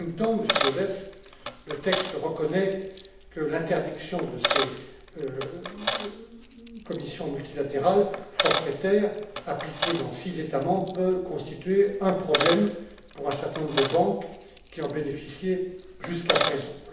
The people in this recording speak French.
Dans le même temps, Monsieur Gauzès, le texte reconnaît que l'interdiction de ces commissions multilatérales forfaitaires appliquées dans six États membres peut constituer un problème pour un certain nombre de banques qui en bénéficiaient jusqu'à présent.